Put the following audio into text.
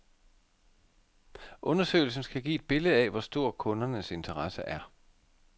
Undersøgelsen skal give et billede af, hvor stor kundernes interesse er.